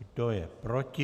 Kdo je proti?